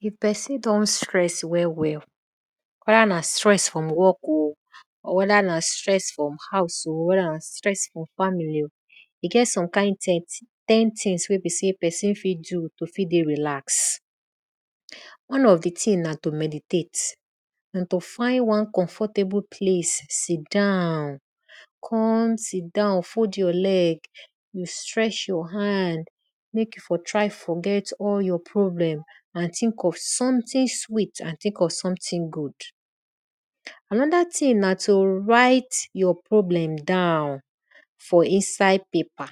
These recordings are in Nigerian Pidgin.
If pesn don stress well well wedana stress from work o or weda na stress from house o, or weda na stress from family o, e get some kind ten things wey pesin fit do to tek relax. One of di thing na to meditate na to find wan comfortable place sit down come sit down fold your leg you strength your hand mek you for try forget all your problemand thing of something sweet and think of something good. Anoda thing na to write your problem down for inside paper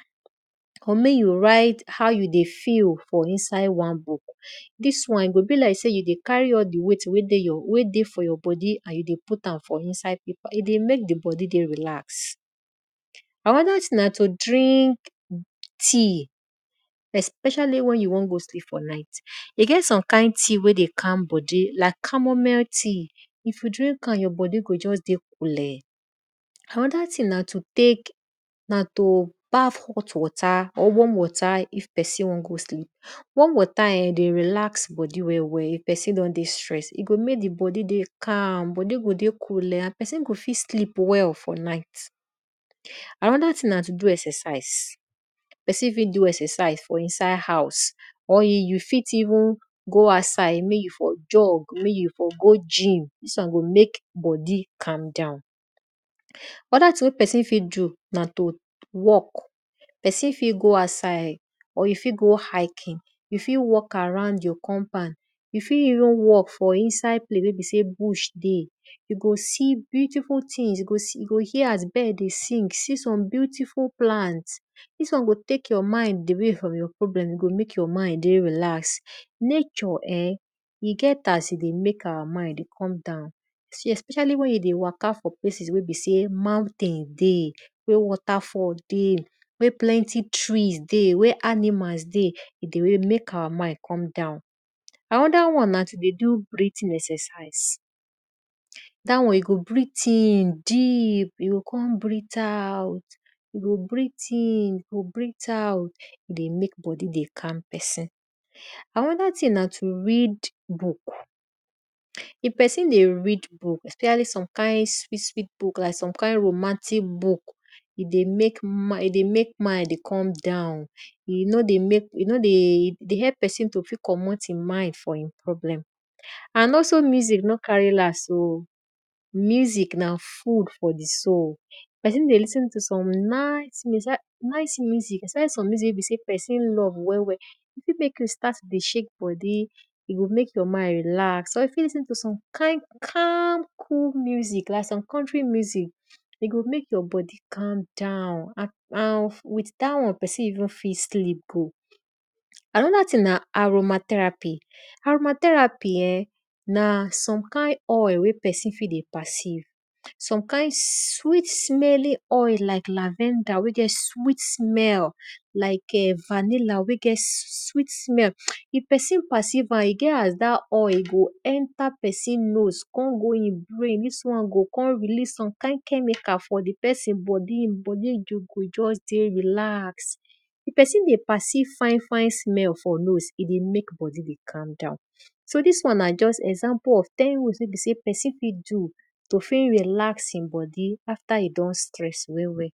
or mek you write how yo dey feel for inside wanbook. Dis wan e go be like sey you dey carry all di weight wey dey for inside your bodi e dey mek di bodi dey relax. Anoda na to drink tea especially wen you won go sleep for night e get some kind tea wey dey calm bodi like caramel ta if you drink am you bodi go just dey culee. Anoda thing na to tek na to baff hot water of warm water if pesin won go sleep. Warm water eh dey relax bodi well well if pesin don dey stress e go mek di bodi dey calm and bodi go dey coolee and pesin go fit sleep well for night. Anoda thing na to do exercise, pesin fit do exercise for inside house or you fiteven go out side mek you for job or mek you fir even go gym dis won go mek bodi calm down. Anoda thing wey pesin fit do na to walk, pesin fit go outside or you fit go hiking you fit walk around your compound, you fit even walkj for inside plac wey be sey bush dey you go se beautiful things you go hear as bird dey sing swe some beautiful plant, dis won go tek your mind away from you problem gomek you mind dey relax. Nature e get as e dey mek our mind dey calm espwcially if you dey waka for place where mountain dey, where plenty trees dey, where animal dey e dey mek our mind come down. Anoda wan na to dey do breathing exercise dat on you go breath in you o kon breath out, e dey mek bodi dey calm pesin. Anoda thing na to read book. If pesin dey read book especially some kind sweet book like some kind romantic book, e dey mek mind dey come down, e no dey e dey help pesin to fit commot e mind from problem. And also music nor carry last o. music na fgood for di soul, pesin dey lis ten to some nic musi especially some music wey besey pesin love wel well e fit mek you to star to dey shake bodi and you fit listn to some kind cool musi some country music, e go mek you bodi calm down and with dat won pesin fit ven sleep gon. Anoda thing na aromatherapy. Na some some kind oil wey pesin dey perceive, some kind sweet smelling oil like lavenga wey get sweet smell like vanilla wey get sweet smell if pesin perceive am e get as dat oil go enter pesin nose kon release some kind chgemical for di pesin bodi, di bodi go just dey relax. If pesin dey pervcieve fine fine smell for nose, e dey mek bodi dey calm down. So dis won na ten rules wey pesin fit do to tek relax e bodi afta e don trss well well.